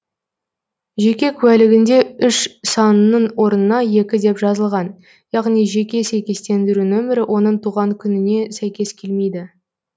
жеке куәлігінде үш санының орнына екі деп жазылған яғни жеке сәйкестендіру нөмірі оның туған күніне сәйкес келмейді